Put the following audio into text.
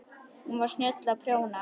Hún var snjöll að prjóna.